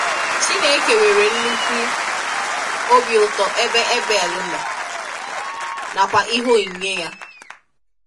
Chineke nwere nnukwu ọ̀bị̀ ụ̀tọ̀ ebe Abel nọ, nakwa ihe onyinye ya.